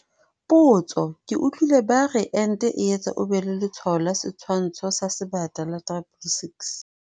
Potso- Ke utlwile ba re ente e etsa o be le letshwao la setshwantsho sa Sebata la 666.